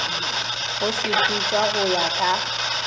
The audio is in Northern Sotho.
go sepetšwa go ya ka